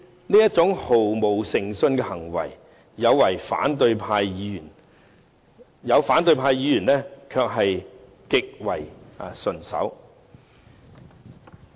這種毫無誠信的行為，部分反對派議員卻做得極為順手。